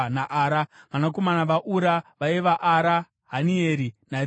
Vanakomana vaUra vaiva: Ara, Hanieri, naRizia.